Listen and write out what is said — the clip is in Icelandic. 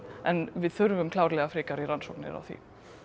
en við þurfum klárlega frekari rannsóknir á því